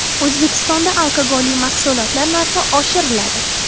O‘zbekistonda alkogolli mahsulotlar narxi oshiriladi.